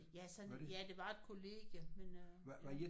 Ja sådan et ja det var et kollegium men øh ja